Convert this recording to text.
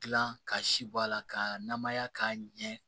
Gilan ka si b'a la ka namaya k'a ɲɛ